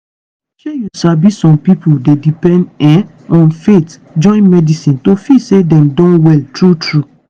shey you sabi some pipo dey depend um on faith join medicine to feel say dem don well true true.